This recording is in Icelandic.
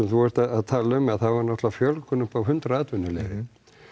þú ert að tala um það var náttúrlega fjölgun uppá hundrað atvinnuleyfi